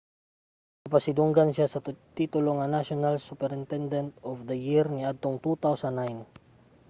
gipasidunggan siya sa titulo nga national superintendent of the year niadtong 2009